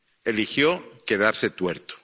Eligió quedarse tuerto.